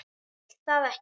Vil það ekki.